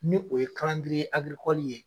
Ni o ye ye.